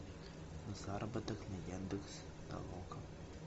заработок на яндекс толока